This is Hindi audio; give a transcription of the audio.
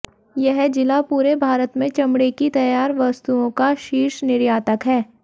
यह ज़िला पूरे भारत में चमड़े की तैयार वस्तुओं का शीर्ष निर्यातक है